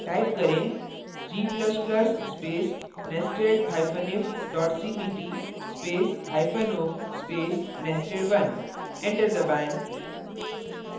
type करें : g ++ space nestedif cpp spaceo space nested1 enter दबाएँ